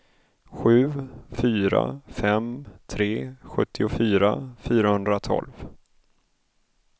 sju fyra fem tre sjuttiofyra fyrahundratolv